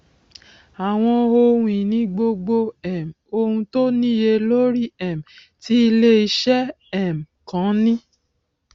àwọn ohun ìní gbogbo um ohun tó níye lórí um tí iléeṣẹ um kan ní